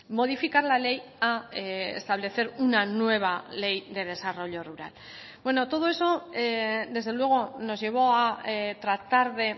modificar la ley a establecer una nueva ley de desarrollo rural bueno todo eso desde luego nos llevó a tratar de